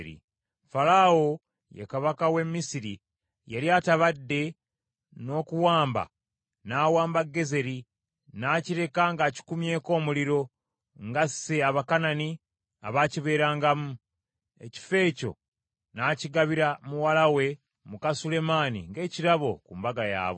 Falaawo, ye kabaka w’e Misiri yali atabadde, n’okuwamba n’awamba Gezeri, n’akireka ng’akikumyeko omuliro, ng’asse Abakanani abaakibeerangamu. Ekifo ekyo n’akigabira muwala we, muka Sulemaani ng’ekirabo ku mbaga yaabwe.